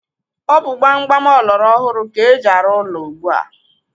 Ọ bụ gbam gbam ọlọrọ hụrụ ka eji arụ ụlọ ugbu a.